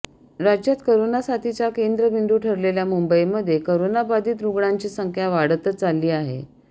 राज्यात करोना साथीचा केंद्रबिंदू ठरलेल्या मुंबईमध्ये करोनाबाधित रुग्णांची संख्या वाढतच चालली आहे